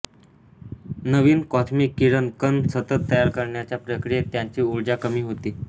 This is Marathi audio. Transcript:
नवीन कॉस्मिक किरण कण सतत तयार करण्याच्या प्रक्रियेत त्यांची उर्जा कमी होते